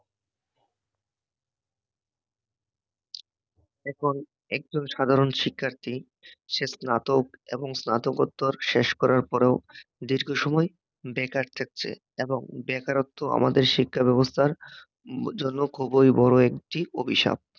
এখন একজন সাধারণ শিক্ষার্থী সে স্নাতক এবং স্নাতকোত্তর শেষ করার পরেও সময় বেকার থাকছে, এবং বেকারত্ব আমাদের শিক্ষাব্যবস্থার জন্য খুবই বড় একটি অভিশাপ